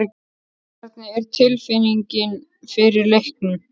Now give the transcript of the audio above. Hvernig er tilfinningin fyrir leiknum?